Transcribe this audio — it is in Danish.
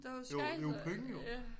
Der jo skejser ja